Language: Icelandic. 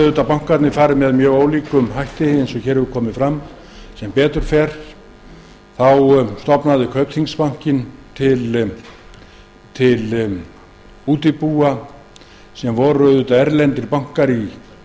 að bankarnir hafi farið að með mjög ólíkum hætti eins og hér hefur komið fram stofnaði kaupþingsbankinn sem betur fer til útibúa sem voru erlendir bankar í